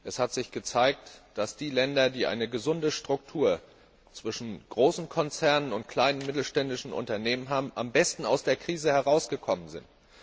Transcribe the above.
Es hat sich gezeigt, dass die Länder, die eine gesunde Struktur zwischen großen Konzernen und kleinen und mittelständischen Unternehmen haben, am besten aus der Krise herausgekommen sind.